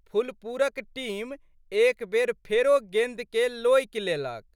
फुलपुरक टीम एक बेर फेरो गेंदके लोकि लेलक।